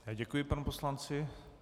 Děkuji panu poslanci.